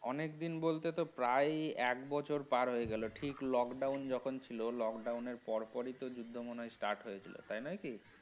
অনেকদিন বলতে তো প্রায়ই এক বছর পার হয়ে গেলো ঠিক lockdown যখন ছিল, lockdown র পরপরই তো যুদ্ধ মনে হয় start হয়েছিল তাই নয় কি